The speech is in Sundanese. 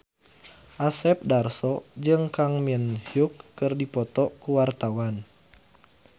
Asep Darso jeung Kang Min Hyuk keur dipoto ku wartawan